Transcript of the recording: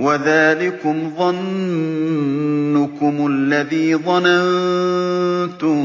وَذَٰلِكُمْ ظَنُّكُمُ الَّذِي ظَنَنتُم